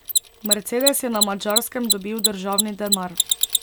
Mercedes je na Madžarskem dobil državni denar.